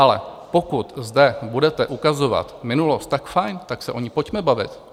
Ale pokud zde budete ukazovat minulost, tak fajn, tak se o ní pojďme bavit.